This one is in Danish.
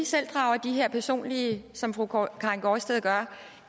selv drager de her personlige som fru karin gaardsted gør